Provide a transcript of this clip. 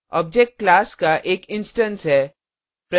object class का एक instance है